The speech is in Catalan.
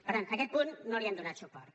per tant a aquest punt no li hem donat suport